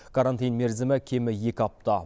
карантин мерзімі кемі екі апта